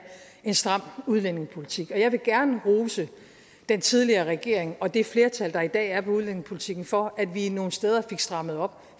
en stram udlændingepolitik og jeg vil gerne rose den tidligere regering og det flertal der i dag er på udlændingepolitikken for at vi nogle steder fik strammet op